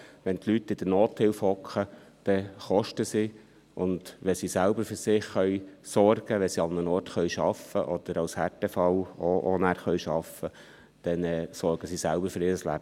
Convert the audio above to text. Wenn die Leute in der Nothilfe sitzen, kosten sie, und wenn sie für sich selbst sorgen können, wenn sie arbeiten können, oder auch, wenn sie nachher als Härtefall arbeiten können, dann sorgen sie selbst für ihr Leben.